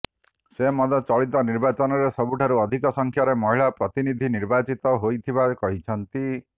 ସେ ମଧ୍ୟ ଚଳିତ ନିର୍ବାଚନରେ ସବୁଠାରୁ ଅଧିକ ସଂଖ୍ୟାରେ ମହିଳା ପ୍ରତିନିଧି ନିର୍ବାଚିତ ହୋଇଥିବା କହିଛନ୍ତି